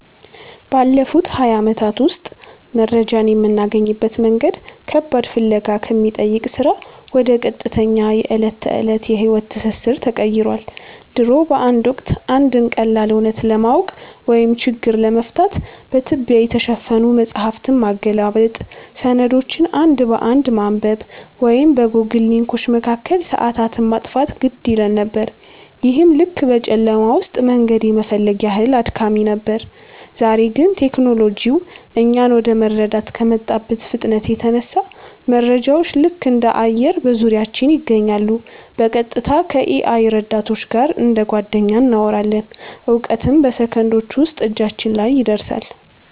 ባለፉት ሃያ ዓመታት ውስጥ መረጃን የምናገኝበት መንገድ ከባድ ፍለጋ ከሚጠይቅ ሥራ ወደ ቀጥተኛ የዕለት ተዕለት የሕይወት ትስስር ተቀይሯል። ድሮ በአንድ ወቅት፣ አንድን ቀላል እውነት ለማወቅ ወይም ችግር ለመፍታት በትቢያ የተሸፈኑ መጻሕፍትን ማገላበጥ፣ ሰነዶችን አንድ በአንድ ማንበብ ወይም በጎግል ሊንኮች መካከል ሰዓታትን ማጥፋት ግድ ይለን ነበር፤ ይህም ልክ በጨለማ ውስጥ መንገድ የመፈለግ ያህል አድካሚ ነበር። ዛሬ ግን ቴክኖሎጂው እኛን ወደ መረዳት ከመጣበት ፍጥነት የተነሳ፣ መረጃዎች ልክ እንደ አየር በዙሪያችን ይገኛሉ—በቀጥታ ከ-AI ረዳቶች ጋር እንደ ጓደኛ እናወራለን፣ እውቀትም በሰከንዶች ውስጥ እጃችን ላይ ይደርሳል።